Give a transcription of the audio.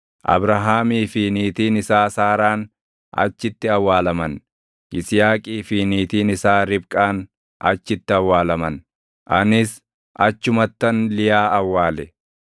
Abrahaamii fi niitiin isaa Saaraan achitti awwaalaman; Yisihaaqii fi niitiin isaa Ribqaan achitti awwaalaman; anis achumattan Liyaa awwaale.